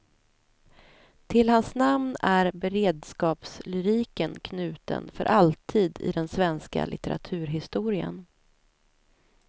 Till hans namn är beredskapslyriken knuten för alltid i den svenska litteraturhistorien.